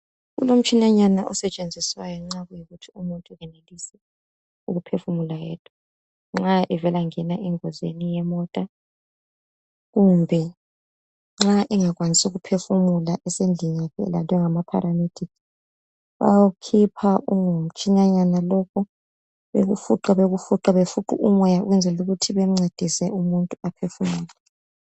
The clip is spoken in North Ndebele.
Kulomtshinanyana osetshenziswayo nxakuyikuthi umuntu kayenelisi ukuphefumula yedwa nxa evela ngena engozini yemota kumbe nxa engakwanisi ukuphefumula esendlini yakhe elandwe ngama "paramedic " bayawu khipha ungumtshinanyana lokhu bayawukhipha bekufuqe bekufuqe befuqe umoya ukwenzela ukuthi bemuncedise umuntu aphefumule .